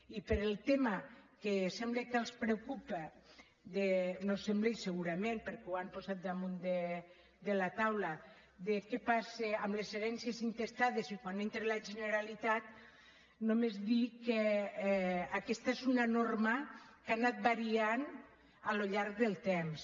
i pel tema que sembla que els preocupa no ho sembla segurament perquè ho han posat damunt la taula de què passa amb les herències intestades i quan hi entra la generalitat només dir que aquesta és una norma que ha anat variant al llarg del temps